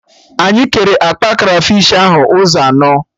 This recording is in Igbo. Anyị kere akpa krafish ahụ ụzọ anọ